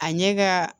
A ɲɛ ka